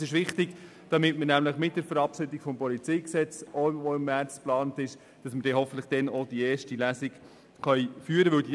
Das ist wichtig, damit wir mit der Verabschiedung des PolG, die ebenfalls in der Märzsession geplant ist, hoffentlich auch die erste Lesung durchführen können.